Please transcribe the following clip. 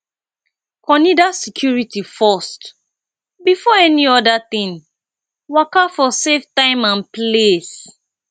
conider security forst before any oda thing waka for safe time and place